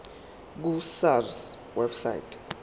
ku sars website